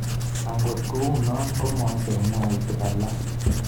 Angot kou no, ko maicher mwautik alak